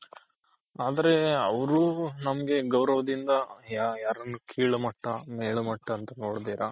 ಆದ್ರೆ ಅವ್ರು ನಮ್ಗೆ ಗೌರವದಿಂದ ಯಾರನ್ನು ಕೀಳ್ ಮಟ್ಟ ಮೇಲ್ ಮಟ್ಟ ಅಂತ ನೋಡ್ದಿರ.